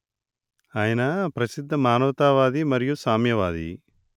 ఆయన ప్రసిద్ధ మానవతా వాది మరియు సామ్యవాది